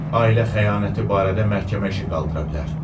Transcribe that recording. Ailə xəyanəti barədə məhkəmə işi qaldıra bilər.